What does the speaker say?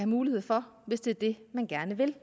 mulighed for hvis det er det man gerne vil